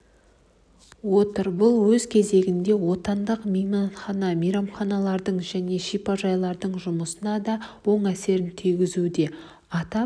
отыр бұл өз кезегінде отандық мейманхана мейрамханалардың және шипажайлардың жұмысына да оң әсерін тигізуде атап